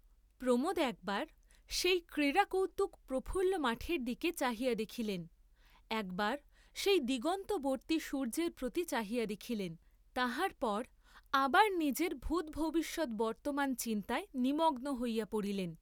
প্রমোদ একবার সেই ক্রীড়াকৌতুক প্রফুল্ল মাঠের দিকে চাহিয়া দেখিলেন, একবার সেই দিগন্তবর্ত্তী সূর্য্যের প্রতি চাহিয়া দেখিলেন, তাহার পর আবার নিজের ভূতভবিষ্যৎ বর্ত্তমান চিন্তায় নিমগ্ন হইয়া পড়িলেন।